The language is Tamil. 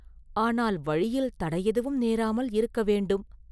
ஆனால் வழியில் தடை எதுவும் நேராமல் இருக்க வேண்டும்.